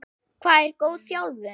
Hvað er góð þjálfun?